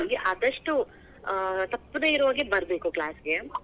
ಹಾಗಾಗಿ ಆದಷ್ಟು, ಆ ತಪ್ಪದೇ ಇರೋ ಹಾಗೆ ಬರಬೇಕು class ಗೆ.